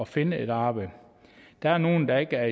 finde et arbejde der er nogen der ikke er